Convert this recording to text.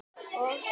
og Sig.